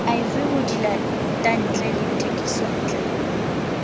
iv ho dilatantle le thekisontle